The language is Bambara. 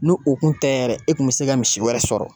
N'u u kun tɛ yɛrɛ e kun mi se ka misi wɛrɛ sɔrɔ